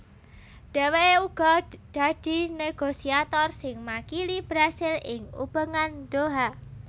Dhèwèké uga dadi négosiator sing makili Brasil ing Ubengan Doha